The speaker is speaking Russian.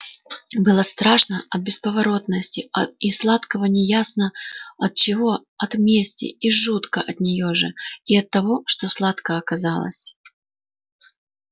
было страшно от бесповоротности а и сладко неясно от чего от мести и жутко от нее же и от того что сладко оказалось